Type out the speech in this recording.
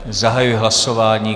Zahajuji hlasování.